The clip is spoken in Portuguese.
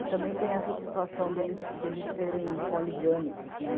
E também tem essa situação deles, deles serem poligâmicos.